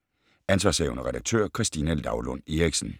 Ansv. redaktør: Christina Laulund Eriksen